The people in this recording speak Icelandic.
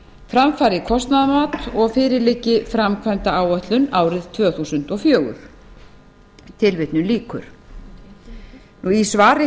fram fari kostnaðarmat og fyrir liggi framkvæmdaáætlun árið tvö þúsund og fjögur í svari